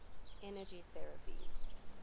energy therapies